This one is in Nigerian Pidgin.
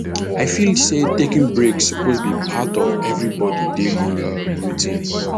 i feel say taking breaks suppose be part of everybody daily routine